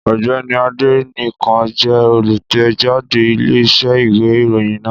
Ọ̀gbẹ́ni Adénẹ́kàn jẹ́ olùtẹ̀jáde Iléeṣẹ́ ìwé ìròyìn náà